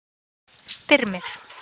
Styrmir